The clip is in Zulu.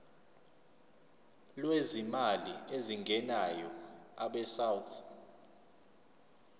lwezimali ezingenayo abesouth